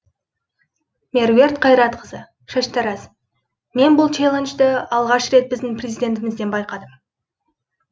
меруерт қайратқызы шаштараз мен бұл челленджді алғаш рет біздің президентімізден байқадым